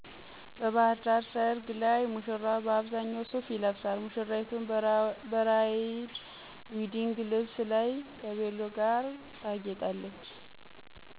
በባህርዳር ሠርግ ላይ ሙሽራው በአብዛኛው ሱፍ ይለብሳል፣ ሙሽሪቱም ብራይድ ዌዲንግ ልብስ ከቬሎ ጋር ታጌጣለች።